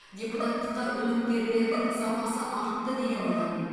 депутаттыққа үміткерлердің сапасы артты деген ойдамын